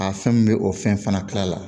A fɛn min bɛ o fɛn fana kila la